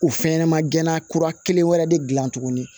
O fɛn ɲɛnɛma gɛnna kura kelen wɛrɛ de gilan tuguni